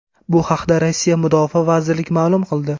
Bu haqda Rossiya mudofaa vazirligi ma’lum qildi .